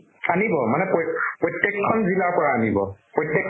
আনিব। মানে প্ৰইত প্ৰত্য়েকখন জিলাৰ পৰা আনব। প্ৰত্য়েকখন